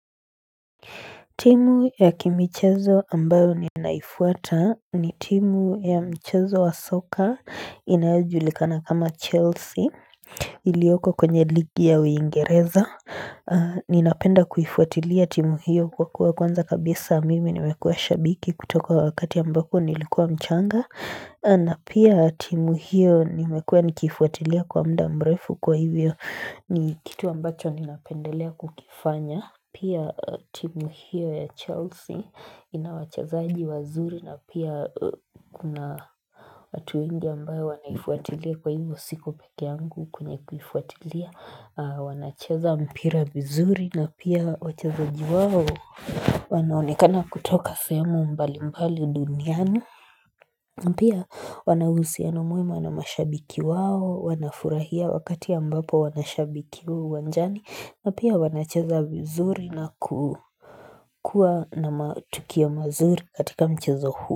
Timu ya kimichezo ambayo ninaifuata ni timu ya mchezo wa soccer inayojulikana kama Chelsea Ilioko kwenye ligi ya uingereza, ninapenda kuifuatilia timu hiyo kwa kuwa kwanza kabisa mimi nimekuwa shabiki kutoka wakati ambapo nilikuwa mchanga na pia timu hiyo nimekuwa nikifuatilia kwa muda mrefu kwa hivyo ni kitu ambacho ninapendelea kukifanya Pia timu hiyo ya Chelsea ina wachezaji wazuri na pia kuna watu wengi ambaye wanaifuatilia kwa hivyo siko peke yangu kwenye kuifuatilia. Wanacheza mpira vizuri na pia wachezaji wao wanaonekana kutoka sehemu mbali mbali duniani. Na pia wanauhusiano mwema na mashabiki wao, wanafurahia wakati ambapo wanashabikiwa uwanjani, na pia wanacheza vizuri na kukua na matukio mazuri katika mchezo huu.